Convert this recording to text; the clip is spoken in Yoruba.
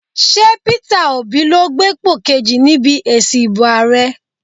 Ṣé Peter Obi ló gbépò kejì níbi èsì ìbò ààrẹ?